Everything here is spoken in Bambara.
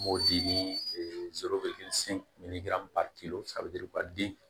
M'o di den